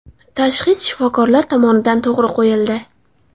Tashxis shifokorlar tomonidan to‘g‘ri qo‘yildi.